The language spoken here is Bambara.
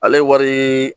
Ale wari